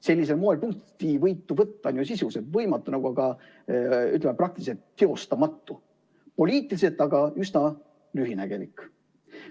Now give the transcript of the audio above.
Sellisel moel punktivõitu võtta on ju sisuliselt võimatu, praktiliselt teostamatu, poliitiliselt aga üsna lühinägelik.